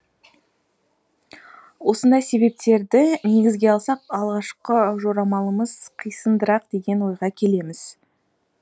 осындай себептерді негізге алсақ алғашқы жорамалымыз қисындырақ деген ойға келеміз